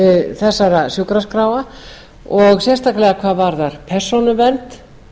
þessara sjúkraskráa og sérstaklega hvað varðar persónuvernd